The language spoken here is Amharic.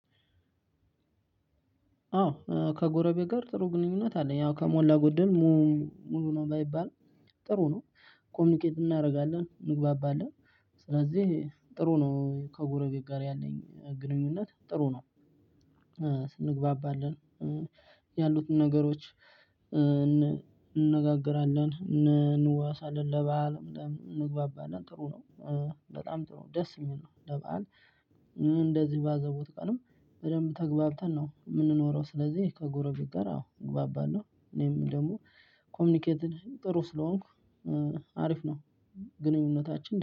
አዎ ከጎረቤ ጋር ጥሩ ግንኙነት አለ አው ከሞላ ጎደል ሙሉ ነው ባይባልም ጥሩ ነው ኮሚኒኬት እናደርጋለን እንግባባለን። ስለዚህ ጥሩ ነው ከጎረቤት ጋር ያለኝ ግንኙነት ጥሩ ነው። ስንግባባለን ያሉትን ነገሮች እንነጋገራለን እንንዋዋሳለን ለባል ምናምን እንግባባለን ጥሩ ነው። በጣም ጥሩ ነው ደስ የሚል ነው። ለበአል እንደዚ ላዘቦት ቀንም በደንብ ተግባብተን ነው የምንኖረው። ስለዚህ ከጎረቤት ጋር አዎ እግባባለሁ እኔም ደግሞ ኮምኒኬትድ ጥሩ ስለሆንኩ አሪፍ ነው። ግንኙነታችን